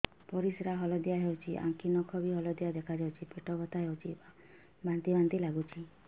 ପରିସ୍ରା ହଳଦିଆ ହେଉଛି ଆଖି ନଖ ବି ହଳଦିଆ ଦେଖାଯାଉଛି ପେଟ ବଥା ହେଉଛି ବାନ୍ତି ବାନ୍ତି ଲାଗୁଛି